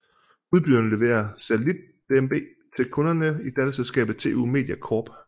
Udbyderen leverer satellit DMB til kunderne i datterselskabet TU Media Corp